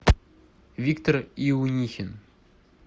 виктор иунихин